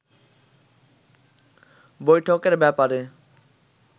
বৈঠকের ব্যাপারে